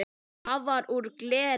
Það var úr gleri.